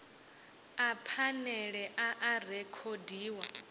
a phanele a a rekhodiwa